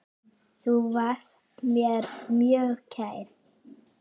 Þú varst mér mjög kær.